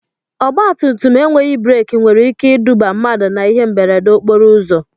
Ọgba tum tum enweghị breki nwere ike iduba mmadụ na ihe mberede okporo ụzọ.